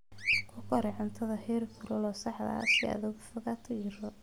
Ku kari cuntada heerkulka saxda ah si aad uga fogaato jirro.